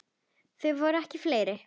Þau verða ekki fleiri.